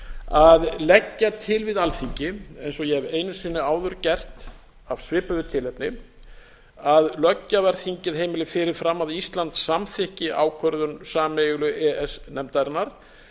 að leggja til við alþingi eins og ég hef einu sinni áður gert af svipuðu tilefni að löggjafarþingið heimili fyrir fram að ísland samþykki ákvörðun sameiginlegu e e s nefndarinnar